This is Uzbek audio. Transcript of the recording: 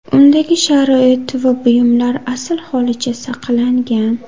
Undagi sharoit va buyumlar asl holicha saqlangan.